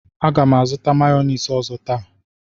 M ga-azụtakwu mayọniisi ọzọ taa.